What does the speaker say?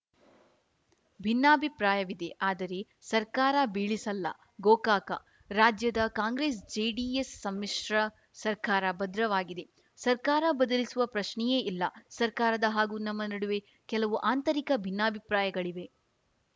ಭಿನ್ನಾಭಿಪ್ರಾಯವಿದೆ ಆದರೆ ಸರ್ಕಾರ ಬೀಳಿಸಲ್ಲ ಗೋಕಾಕ ರಾಜ್ಯದ ಕಾಂಗ್ರೆಸ್‌ ಜೆಡಿಎಸ್‌ ಸಮ್ಮಿಶ್ರ ಸರ್ಕಾರ ಭದ್ರವಾಗಿದೆ ಸರ್ಕಾರ ಬದಲಿಸುವ ಪ್ರಶ್ನೆಯೇ ಇಲ್ಲ ಸರ್ಕಾರದ ಹಾಗೂ ನಮ್ಮ ನಡುವೆ ಕೆಲವು ಆಂತರಿಕ ಭಿನ್ನಾಭಿಪ್ರಾಯಗಳಿವೆ